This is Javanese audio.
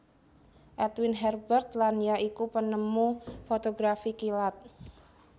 Edwin Herbert Land ya iku penemu fotografi kilat